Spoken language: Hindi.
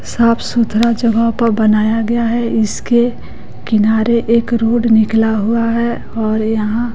साफ सुथरा जगह पर बनाया गया है इसके किनारे एक रोड निकला हुआ है और यहां--